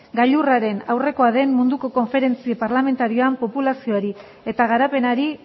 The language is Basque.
gailurraren aurrekoa den munduko konferentzia parlamentarioan populazioari eta garapenari